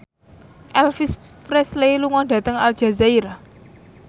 Elvis Presley lunga dhateng Aljazair